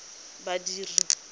badiri